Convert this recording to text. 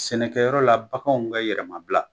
Sɛnɛkɛyɔrɔ la baganw ka yɛrɛmabila